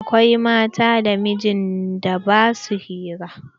Akwai mata da mijin da ba sua hira.